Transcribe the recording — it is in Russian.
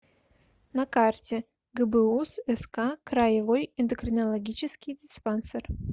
на карте гбуз ск краевой эндокринологический диспансер